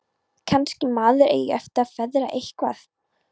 Kannski maður eigi eftir að feðra eitthvað.